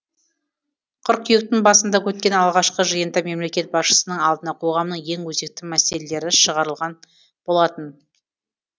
қыркүйектің басында өткен алғашқы жиында мемлекет басшысының алдына қоғамның ең өзекті мәселелері шығарылған болатын